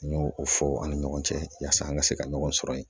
An y'o o fɔ an ni ɲɔgɔn cɛ yaasa an ka se ka ɲɔgɔn sɔrɔ yen